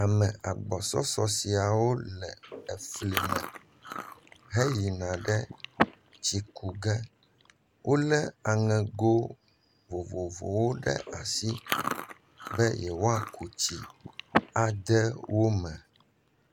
Ame agbɔsɔsɔ siawo le fli me heyina ɖe tsikuƒe wolé aŋego vovovowo ɖe asi be yewoaku tsi ade me.